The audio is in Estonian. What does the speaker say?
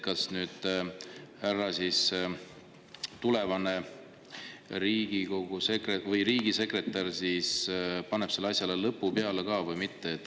Kas nüüd härra tulevane riigisekretär teeb sellele asjale lõpu või mitte?